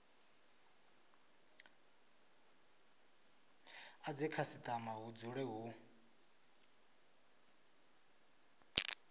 a dzikhasitama hu dzule hu